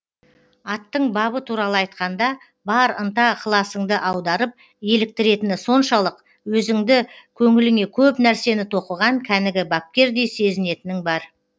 аттың бабы туралы айтқанда бар ынта ықыласыңды аударып еліктіретіні соншалық өзіңді көңіліңе көп нәрсені тоқыған кәнігі бапкердей сезінетінің бар